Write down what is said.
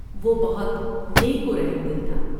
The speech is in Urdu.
وہ بہت نیک ورحم دل تھا ۔